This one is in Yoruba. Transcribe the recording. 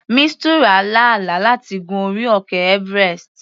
Mistura lá àlá láti gun orí òkè everest.